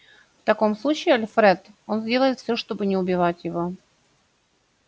в таком случае альфред он сделает все чтобы не убивать его